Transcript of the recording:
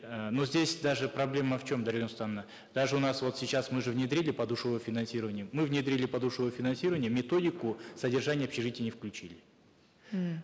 э ну здесь даже проблема в чем дарига нурсултановна даже у нас вот сейчас мы же внедрили подушевое финансирование мы внедрили подушевое финансирование методику содержания общежитий не включили м